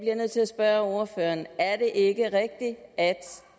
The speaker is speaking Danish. jeg nødt til at spørge ordføreren er det ikke rigtigt at